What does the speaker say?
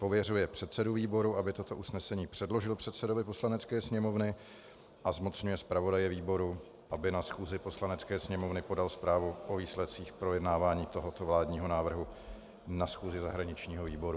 Pověřuje předsedu výboru, aby toto usnesení předložil předsedovi Poslanecké sněmovny, a zmocňuje zpravodaje výboru, aby na schůzi Poslanecké sněmovny podal zprávu o výsledcích projednávání tohoto vládního návrhu na schůzi zahraničního výboru.